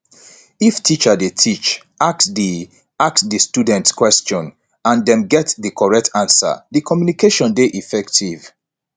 if teacher de teach ask di ask di students questions and dem get di correct answer di communication de effective